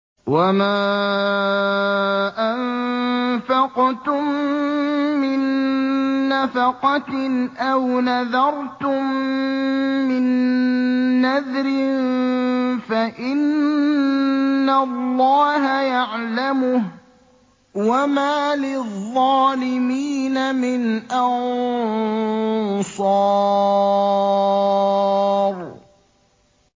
وَمَا أَنفَقْتُم مِّن نَّفَقَةٍ أَوْ نَذَرْتُم مِّن نَّذْرٍ فَإِنَّ اللَّهَ يَعْلَمُهُ ۗ وَمَا لِلظَّالِمِينَ مِنْ أَنصَارٍ